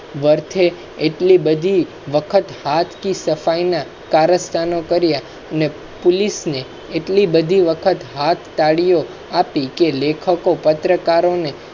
વોર્થે એટલી બધી વખત હાથ કી સફાઈ ના કાર્યસ્થાનો કરિયા અને police એટલી બધી વખત હાથ તાળીયો આપી કે લેખકો પત્રકારો ને.